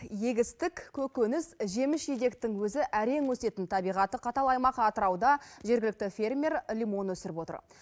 егістік көкөніс жеміс жидектің өзі әрең өсетін табиғаты қатал аймақ атырауда жергілікті фермер лимон өсіріп отыр